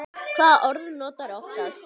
Hvaða orð notarðu oftast?